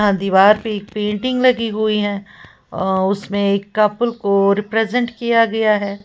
यहां दीवार पर पेंटिंग लगी हुई है अ उसमें एक कपल को रिप्रेजेंट किया गया है।